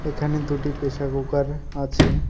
এখানে দুটি pressure cooker আছে।